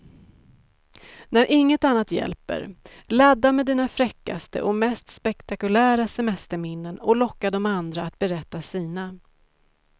När inget annat hjälper, ladda med dina fräckaste och mest spektakulära semesterminnen och locka de andra att berätta sina.